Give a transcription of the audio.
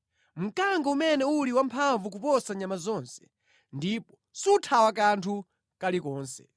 Mkango umene uli wamphamvu kuposa nyama zonse, ndipo suthawa kanthu kalikonse.